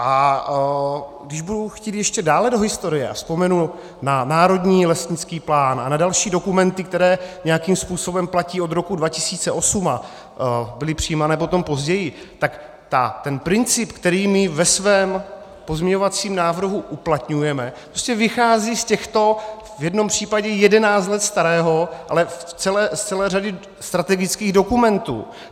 A když budu chtít ještě dále do historie a vzpomenu na národní lesnický plán a na další dokumenty, které nějakým způsobem platí od roku 2008 a byly přijímané potom později, tak ten princip, který my ve svém pozměňovacím návrhu uplatňujeme, prostě vychází z těchto - v jednom případě jedenáct let starého, ale z celé řady strategických dokumentů.